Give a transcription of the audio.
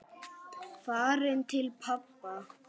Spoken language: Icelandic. Farin til pabba.